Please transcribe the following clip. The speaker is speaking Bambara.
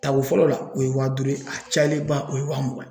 Tako fɔlɔ la, o ye wa duuru ye ; a cayalenba o ye wa mugan ye.